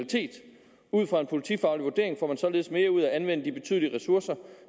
ud fra en politifaglig vurdering får man således mere ud af at anvende de betydelige ressourcer